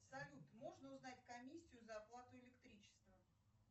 салют можно узнать комиссию за оплату электричества